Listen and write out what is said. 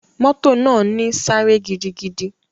Moto naa ni sáré gidigidi.